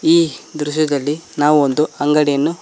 ಈ ದೃಶ್ಯದಲ್ಲಿ ನಾವು ಒಂದು ಅಂಗಡಿಯನ್ನು--